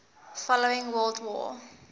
following world war